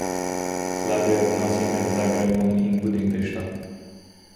Slabi odnosi med Zagrebom in Budimpešto?